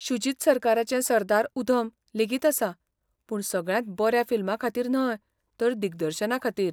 शुजित सरकाराचें सरदार उधम लेगीत आसा, पूण सगळ्यांत बऱ्या फिल्माखातीर न्हय तर दिग्दर्शनाखातीर.